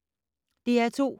DR2